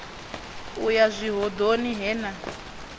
u ya zwihoḓoni he na